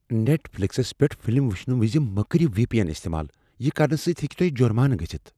Net فلکسس پیٹھ film وٕچھنہٕ وز مہ کٔرو وی پی این استعمال۔ یہ کرنہٕ سۭتۍ ہیٚکہ تۄہہ جرمانہٕ گٔژھتھ۔